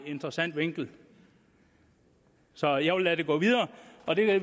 interessant vinkel så jeg vil lade det gå videre